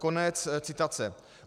Konec citace.